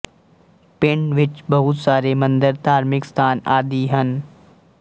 ਪਿੰਡ ਵਿੱਚ ਬਹੁਤ ਸਾਰੇ ਮੰਦਰ ਧਾਰਮਿਕ ਸਥਾਨ ਆਦਿ ਹਨ